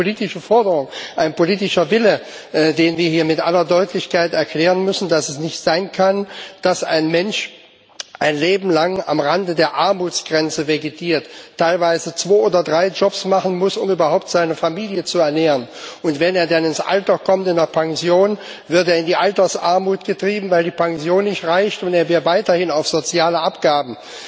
Das ist doch eine politische Forderung, ein politischer Wille, den wir hier mit aller Deutlichkeit erklären müssen, nämlich dass es nicht sein kann, dass ein Mensch ein Leben lang am Rande der Armutsgrenze vegetiert, teilweise zwei oder drei Jobs machen muss, um überhaupt seine Familie zu ernähren, und wenn er dann ins Pensionsalter kommt, wird er in die Altersarmut getrieben, weil die Pension nicht reicht, und wird weiterhin auf soziale Abgaben